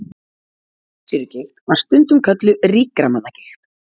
Þvagsýrugigt var stundum kölluð ríkra manna gigt.